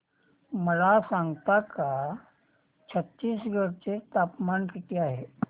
मला सांगता का छत्तीसगढ चे तापमान किती आहे